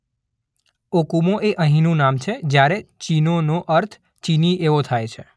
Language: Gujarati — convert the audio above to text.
ઓકુમો એ અહીંનું નામ છે જ્યારે ચીનોનો અર્થ ચીની એવો થાય છે.